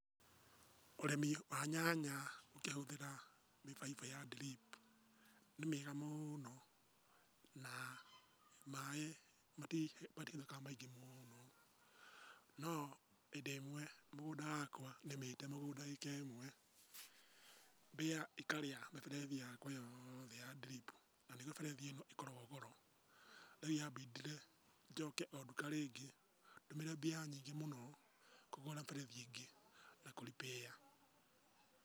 Ũrĩmi wa nyanya ũkĩhũthĩra mĩbaibo ya drip nĩ mĩega mũno, na maĩĩ matiuraga maingĩ mũno. No hĩndĩ ĩmwe mũgũnda wakwa nĩmĩtĩ mũgũnda ĩka ĩmwe, mbĩa ĩkarĩa mĩberethi yakwa yothe ya drip na nĩguo mĩberethi ĩno ĩkoragwo goro. Rĩu yambindire, njoke o nduka rĩngĩ, ndũmĩre mbia nyingĩ mũno, kũgũra mĩberethi ĩngĩ na kũ repair.